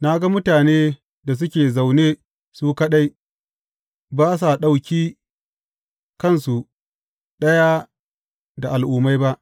Na ga mutane da suke zaune su kaɗai ba sa ɗauki kansu ɗaya da al’ummai ba.